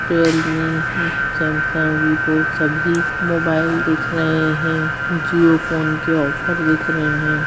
Real me Samsung Vivo सभी mobile दिख रहे हैं जिओ फ़ोन के ऑफर दिख रहे हैं।